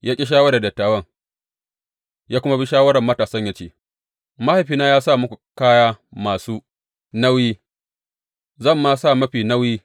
Ya ƙi shawarar dattawan, ya kuma bi shawarar matasan ya ce, Mahaifina ya sa muku kaya masu nauyi; zan ma sa mafi nauyi.